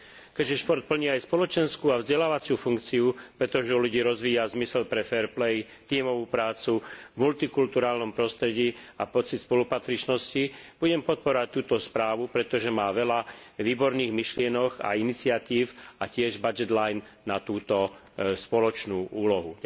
Keďže šport plní aj spoločenskú a vzdelávaciu funkciu, pretože v ľuďoch rozvíja zmysel pre fair play, tímovú prácu v multikultúrnom prostredí a pocit spolupatričnosti, budem podporovať túto správu, pretože má veľa výborných myšlienok a iniciatív a tiež rozpočtový riadok na túto spoločnú úlohu.